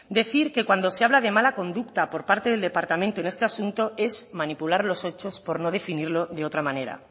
decir que cuando se habla de mala conducta por parte del departamento en este asunto es manipular los hechos por no definirlo de otra manera